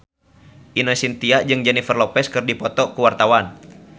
Ine Shintya jeung Jennifer Lopez keur dipoto ku wartawan